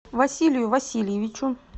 василию васильевичу